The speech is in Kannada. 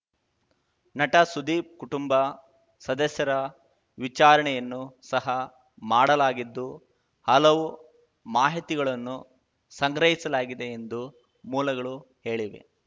ನಟ ಸುದೀಪ್‌ ಕುಟುಂಬ ಸದಸ್ಯರ ವಿಚಾರಣೆಯನ್ನು ಸಹ ಮಾಡಲಾಗಿದ್ದು ಹಲವು ಮಾಹಿತಿಗಳನ್ನು ಸಂಗ್ರಹಿಸಲಾಗಿದೆ ಎಂದು ಮೂಲಗಳು ಹೇಳಿವೆ